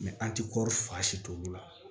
an ti kɔri fa si t'olu la